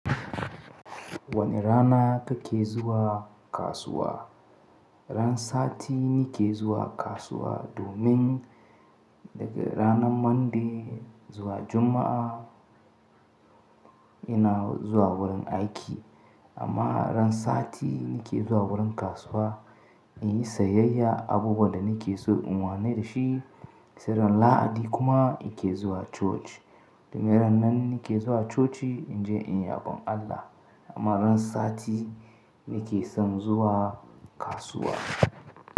Wane rana kake zuwa kasuwa? Ran sati ni ke zuwa kasuwa domin daga ranan Monday zuwa Juma'a ina zuwa wurin aiki. Amma ran sati ni ke zuwa wurin kasuwa in yi sayayya abubuwan da ni ke so in wane da shi. Sai ran Lahadi kuma in ke zuwa coci. Domin ran nan ni ke zuwa coci in je in yabon Allah. Amma ran sati ni ke son zuwa kasuwa.